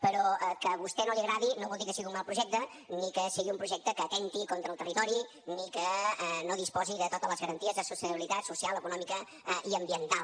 però que a vostè no li agradi no vol dir que sigui un mal projecte ni que sigui un projecte que atempti contra el territori ni que no disposi de totes les garanties de sostenibilitat social econòmica i ambiental